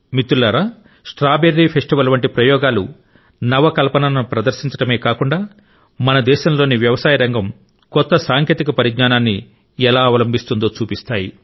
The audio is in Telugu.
మిత్రులారా స్ట్రాబెర్రీ ఫెస్టివల్ వంటి ప్రయోగాలు నవ కల్పనను ప్రదర్శించడమే కాకుండా మన దేశంలోని వ్యవసాయ రంగం కొత్త సాంకేతిక పరిజ్ఞానాన్ని ఎలా అవలంబిస్తుందో చూపిస్తాయి